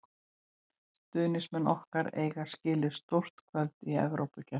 Stuðningsmenn okkar eiga skilið stór kvöld í Evrópukeppni.